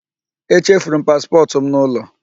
E chefuru m paspọtụ m n'ụlọ.